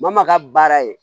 Bamakɔ ka baara ye